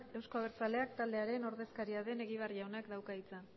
euzko abertzaleak taldearen ordezkaria den egibar jaunak dauka hitza